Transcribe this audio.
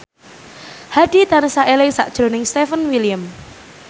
Hadi tansah eling sakjroning Stefan William